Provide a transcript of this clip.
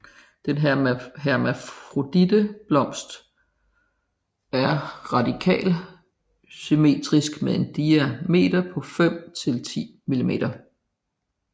Den hermafroditte blomst er radialsymmetrisk med en diameter på 5 til 10 mm